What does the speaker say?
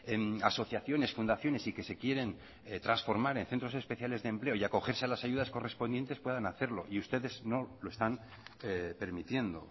en asociaciones fundaciones y que se quieren transformar en centros especiales de empleo y acogerse a las ayudas correspondientes puedan hacerlo y ustedes no lo están permitiendo